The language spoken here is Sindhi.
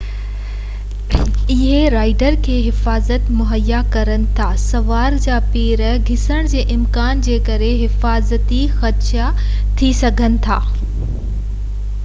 اهي رائيڊر کي وڌ ۾ وڌ حفاظت مهيا ڪن ٿا پر سوار جا پير انهن ۾ ڦسڻ جي امڪان جي ڪري حفاظتي خدشا ٿي سگهن ٿا